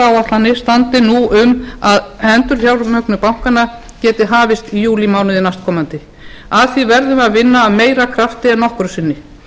áætlanir standi nú um að endurfjármögnun bankanna geti hafist í júlímánuði næstkomandi að því verðum við að vinna að meira krafti en nokkru sinni